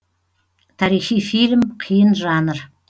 тарихи фильм қиын жанр